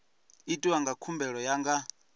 itiwa dza khumbelo ya nga